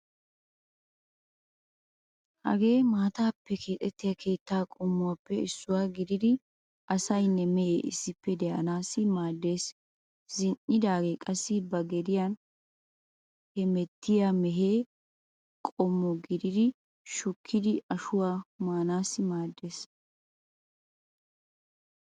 Hagee maataappe keexettiya keetta qommuwaappe issuwa gididi asaynne mehee ssippe de'anasssi maaddeees. Zin"idaagee qassi ba gediyan hemettiya mehe qommo gididi shukkidi ashuwaa maanaassi maaddeees.